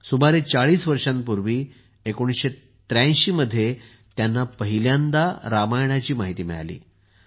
सुमारे 40 वर्षांपूर्वी 1983 मध्ये त्यांना पहिल्यांदा रामायणाची माहिती मिळाली